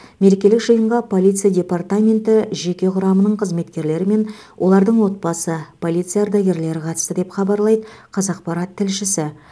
мерекелік жиынға полиция департаменті жеке құрамының қызметкерлері мен олардың отбасы полиция ардагерлері қатысты деп хабарлайды қазақпарат тілшісі